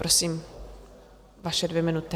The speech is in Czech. Prosím, vaše dvě minuty.